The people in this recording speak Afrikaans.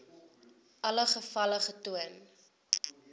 alle gevalle getoon